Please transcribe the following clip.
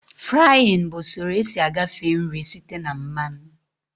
Fraaịn bụ usoro esi agafe nri site na mmanụ